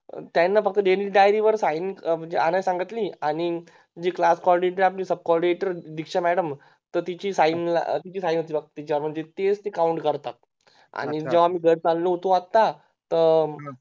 त्यांना फक्त Daily diary sign आणायला सांगितली आणि जी Claas coordinator आहे आपली Sub coordinator आहे दीक्षा Madam तर तिची Sign लागते तीच Count करतात अच्छा आणि जेव्हा आम्ही चाललो होतो आता